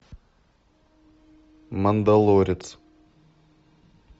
мандалорец